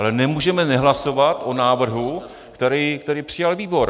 Ale nemůžeme nehlasovat o návrhu, který přijal výbor.